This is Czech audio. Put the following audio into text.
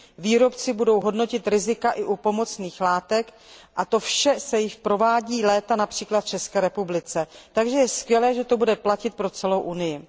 Výrobci budou hodnotit rizika i u pomocných látek, a to vše se provádí již léta například v České republice. Takže je skvělé, že to bude platit pro celou Evropskou unii.